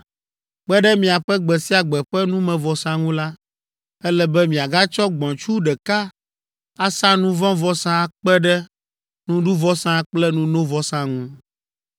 Kpe ɖe miaƒe gbe sia gbe ƒe numevɔsa ŋu la, ele be miagatsɔ gbɔ̃tsu ɖeka asa nu vɔ̃ vɔsa akpe ɖe nuɖuvɔsa kple nunovɔsa ŋu.